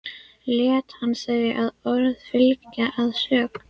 Lét hann þau orð fylgja, að sögn